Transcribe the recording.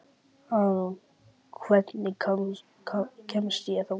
Auðrún, hvernig kemst ég þangað?